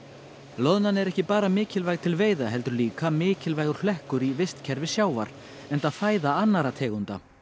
loðnan er ekki bara mikilvæg til veiða heldur líka mikilvægur hlekkur í vistkerfi sjávar enda fæða annarra tegunda